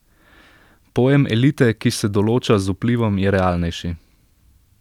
Pojem elite, ki se določa z vplivom, je realnejši.